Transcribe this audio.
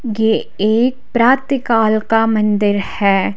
गे एक प्रातकाल का मंदिर है।